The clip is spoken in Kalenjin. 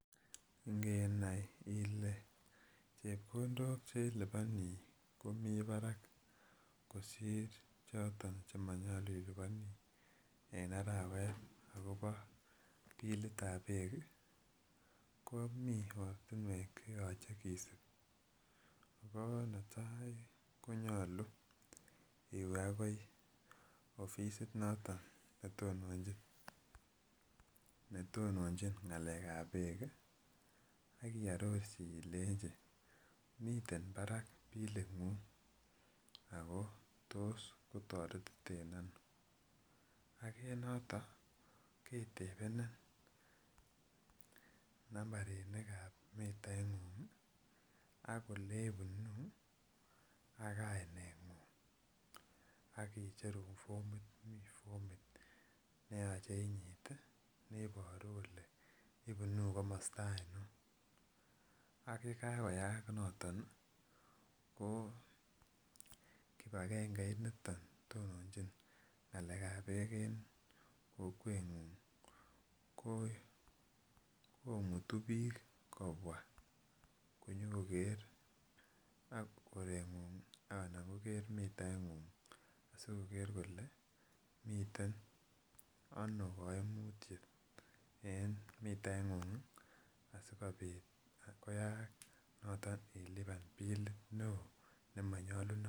Ngenai Ile chebkondok cheliboni komi barak kosir choton chenyalu ilubani en arawet akobo bilitab bek ih komi ortinuek cheyache kisib Ako netai konyalu iwe akoi afisit noton netononchin ng'alekab bek ih , akiarorchi ilenchi, miten barak bilit ng'ung ago tos kotaretiten ano. Ak en noton ketebenin nambarinikab mitait ng'ung ih , akoleibunu ak kainet ng'ung. Akomi formit neyache inyit Ile ibunu kamoste ainon. Ak yekakoyak noton ih, kibakengeit niton tononchin ng'alekab bek en kokwet ng'ung komutu bik kobwa konyokoker mitait ng'ung asikoker kole ih miten ano kaimutiet en mitait ng'ung asikoyaak iluban bilit neoo.